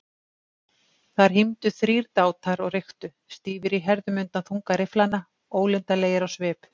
Þar hímdu þrír dátar og reyktu, stífir í herðum undan þunga rifflanna, ólundarlegir á svip.